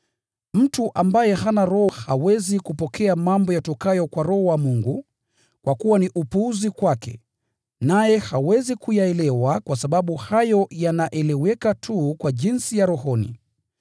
Mtu ambaye hana Roho hawezi kupokea mambo yatokayo kwa Roho wa Mungu, kwa kuwa ni upuzi kwake, naye hawezi kuyaelewa kwa sababu hayo yanaeleweka tu kwa upambanuzi wa rohoni.